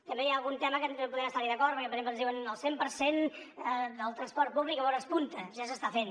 també hi ha algun tema que podríem estar hi d’acord però per exemple ens diuen el cent per cent del transport públic en hores punta ja s’està fent